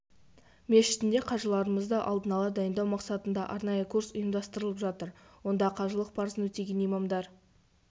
мешітінде қажыларымызды алдын ала дайындау мақсатында арнайы курс ұйымдастырылып жатыр онда қажылық парызын өтеген имамдар